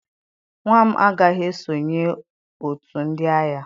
Nwa m agaghị esonye otu ndị agha